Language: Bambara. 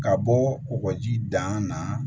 Ka bɔ kɔkɔji da na